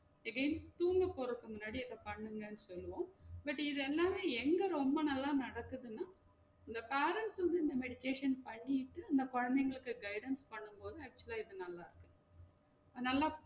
திடீர்னு தூங்க போறதுக்கு முன்னாடி அத பண்ணுங்க சொல்லுவோம் but இது எல்லாமே எங்க ரொம்ப நல்லா நடக்குதுனா இந்த parents வந்து இந்த meditation பண்ணிட்டு இந்த கொழந்தைங்களுக்கு guidance பண்ணும் போது actual ஆ இது நல்லா இருக்கு நல்லா